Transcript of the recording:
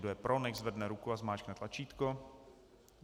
Kdo je pro, nechť zvedne ruku a zmáčkne tlačítko.